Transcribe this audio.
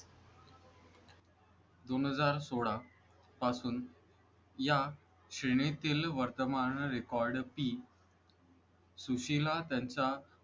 दोन हजार सोळा पासून या श्रेणीतील वर्तमान रेकॉर्ड सुशीला त्यांचा